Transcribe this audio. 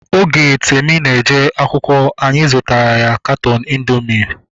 Oge Tami na-eje akwụkwọ, anyị zụtara ya katọọnu indoomị mgbe